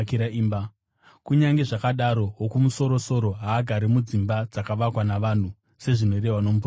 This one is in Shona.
“Kunyange zvakadaro, Wokumusoro-soro haagari mudzimba dzakavakwa navanhu. Sezvinorehwa nomuprofita achiti: